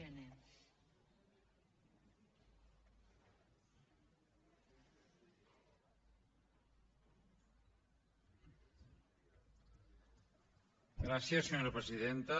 gràcies senyora presidenta